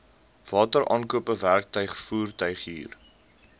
wateraankope werktuig voertuighuur